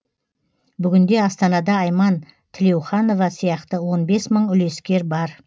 бүгінде астанада айман тілеуханова сияқты он бес мың үлескер бар